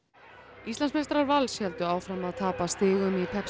Íslandsmeistarar Vals héldu áfram að tapa stigum í